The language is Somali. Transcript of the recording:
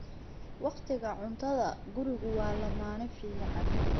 Waqtiga cuntada, gurigu waa lammaane fiican.